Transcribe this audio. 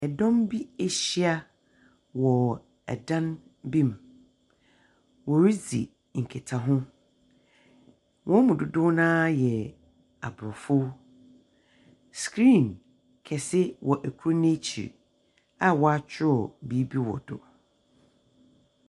Dɔm bi ahyia wɔ dan bu mu. Wɔredzi nkitaho. Wɔn mu dodow no ara yɛ Aborɔfo. Screen kɛse wɔ kor n'ekyir a ɔakyerɛw biribi wɔ do.